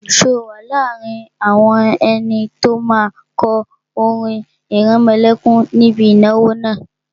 Ṣé o wà láàrin àwọn ẹni tó máa kọ orin ìrẹmọlẹ́kún níbi ìnáwó náà?